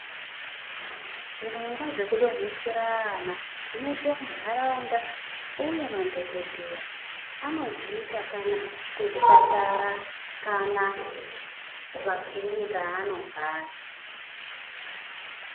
Zvirongwa zvekudonhesera ana zvinoitwe mundaraunda uye madhokodheya anozviita kana kuzvipatara kana kumakirinika anogara